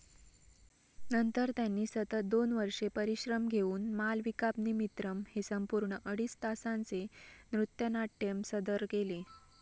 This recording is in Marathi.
नंतर त्यांनी सतत दोन वर्षे परिश्रम घेऊन मालविकाग्निमित्रम हे संपूर्ण अडीच तासांचे नृत्यानाट्य सदर केले.